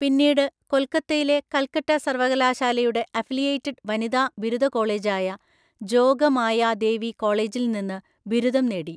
പിന്നീട്, കൊൽക്കത്തയിലെ കൽക്കട്ട സർവകലാശാലയുടെ അഫിലിയേറ്റഡ് വനിതാ ബിരുദ കോളേജായ ജോഗമായാ ദേവി കോളേജിൽ നിന്ന് ബിരുദം നേടി.